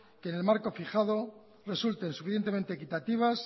que en el marco fijado resulten suficientemente equitativas